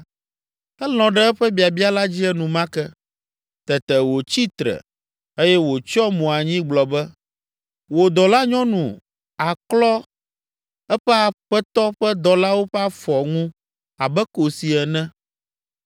elɔ̃ ɖe eƒe biabia la dzi enumake. Tete wòtsi tre, eye wòtsyɔ mo anyi gblɔ be, “Wò dɔlanyɔnu aklɔ eƒe aƒetɔ ƒe dɔlawo ƒe afɔ ŋu abe kosi ene.”